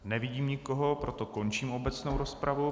Nevidím nikoho, proto končím obecnou rozpravu.